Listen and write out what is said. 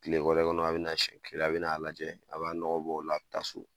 Tile wɛrɛ kɔnɔ a bɛ na siɲɛ kelen a bɛ n'a lajɛ, a b'a nɔgɔ bɔ o la a be taa so.